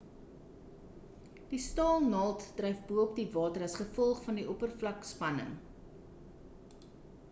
die staal naald dryf bo-op die water as gevolg van die oppervlak-spanning